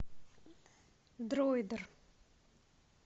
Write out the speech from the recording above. дроидер